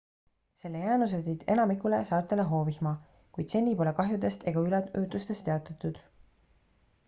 selle jäänused tõid enamikule saartele hoovihma kuid seni pole kahjudest ega üleujutustest teatatud